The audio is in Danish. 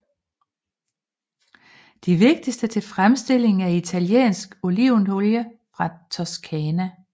De vigtigste til fremstilling af italiensk olivenolie fra Toskana